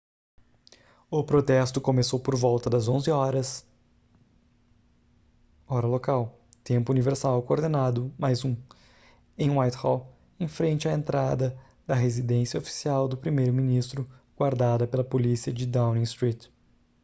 o protesto começou por volta das 11:00 hora local tempo universal coordenado + 1 em whitehall em frente à entrada da residência oficial do primeiro ministro guardada pela polícia de downing street